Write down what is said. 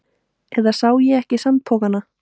Eða sá ég ekki sandpokana?